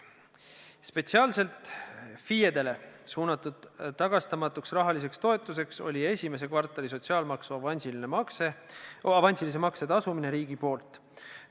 Spetsiaalselt FIE-dele suunatud tagastamatu rahaline toetus oli esimese kvartali sotsiaalmaksu avansilise makse tasumine riigi poolt.